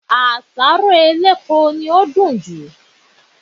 Àṣáró elépo ni ó dùn jù